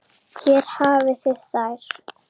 Hér hafið þið þær.